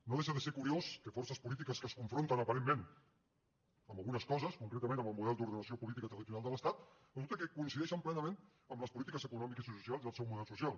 no deixa de ser curiós que forces polítiques que es confronten aparentment amb algunes coses concretament en el model d’ordenació política i territorial de l’estat resulta que coincideixen plenament en les polítiques econòmiques i socials i el seu model social